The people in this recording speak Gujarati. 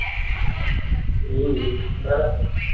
હમ્મ હમ્મ બરાબર.